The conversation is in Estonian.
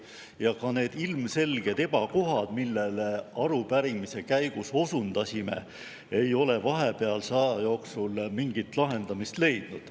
Ja ka need ilmselged ebakohad, millele arupärimise käigus osundasime, ei ole vahepealse aja jooksul mingit lahendamist leidnud.